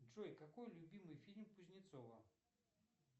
джой какой любимый фильм кузнецова